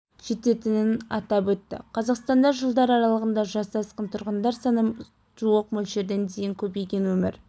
жететінін атап өтті қазақстанда жылдар аралығында жасы асқан тұрғындар саны жуық мөлшерден дейін көбейген өмір